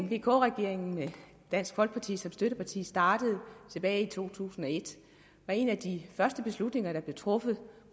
vk regeringen med dansk folkeparti som støtteparti startede tilbage i to tusind og et var en af de første beslutninger der blev truffet